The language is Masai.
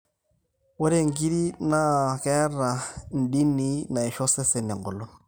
ore nkirri naa keeta indinii naisho osesen eng'olon